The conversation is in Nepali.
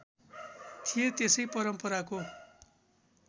थिए त्यसै परम्पराको